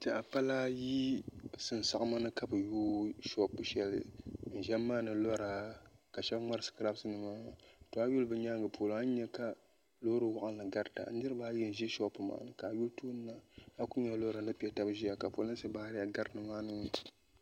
N tiɛha pala ayi sunsuuni ka bi yooi shoop shɛli n ʒɛ n maandi lora ka shab ŋmari sikirabs nima a yuli bi nyaangi polo a ni nyɛ ka loori waɣanli garita niraba ayi n ʒɛ shoop ŋɔ ni ka nyɛ loori nim ni piɛ tabi ʒiya ka polinsi baariya gari nimaani